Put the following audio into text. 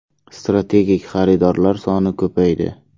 Strategik xaridorlar soni ko‘paydi.